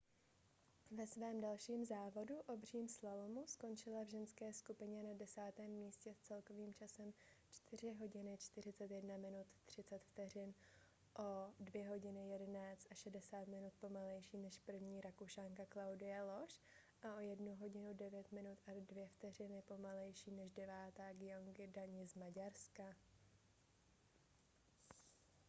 ve svém dalším závodu obřím slalomu skončila v ženské skupině na desátém místě s celkovým časem 4:41,30 o 2:11,60 minut pomalejší než první rakušanka claudia loesch a o 1: 09,02 minut pomalejší než devátá gyöngyi dani z maďarska